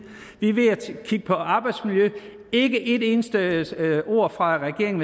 vi er ved at kigge på arbejdsmiljø ikke et eneste ord fra regeringen